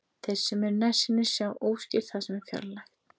Þeir sem eru nærsýnir sjá óskýrt það sem er fjarlægt.